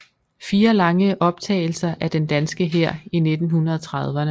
Fine lange optagelser af den danske hær i 1930erne